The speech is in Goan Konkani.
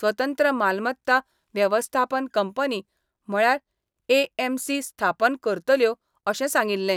स्वतंत्र मालमत्ता वेवस्थापन कंपनी म्हणल्यार एएमसी स्थापन करतल्यो अशें सांगिल्लें.